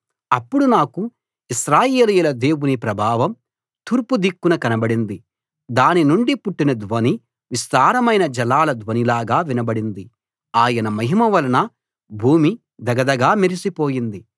అప్పుడు నాకు ఇశ్రాయేలీయుల దేవుని ప్రభావం తూర్పు దిక్కున కనబడింది దానినుండి పుట్టిన ధ్వని విస్తారమైన జలాల ధ్వనిలాగా వినబడింది ఆయన మహిమ వలన భూమి ధగధగా మెరిసిపోయింది